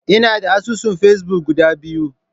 Ina da asusun Facebook guda biyu.